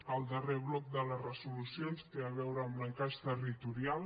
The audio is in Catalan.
el darrer bloc de les resolucions té a veure amb l’encaix territorial